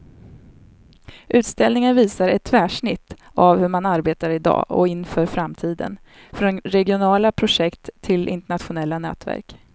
Utställningen visar ett tvärsnitt av hur man arbetar i dag och inför framtiden, från regionala projekt till internationella nätverk.